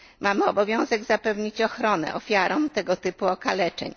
Mamy obowiązek zapewnić ochronę ofiarom tego typu okaleczeń.